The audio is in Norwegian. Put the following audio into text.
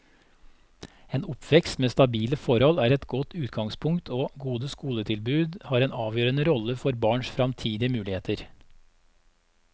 En oppvekst med stabile forhold er et godt utgangspunkt, og gode skoletilbud har en avgjørende rolle for barns fremtidige muligheter.